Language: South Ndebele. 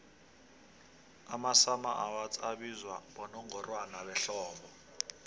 amasummer awards abizwa bonongorwana behlobo